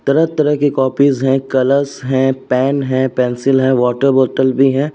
तरह-तरह की कॉपीस् हैं कलरस् है पेन है पेंसिल है वॉटर बॉटल भी है।